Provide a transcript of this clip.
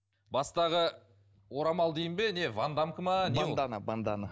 бастағы орамал дейін бе не вандамка ма не ол бандана бандана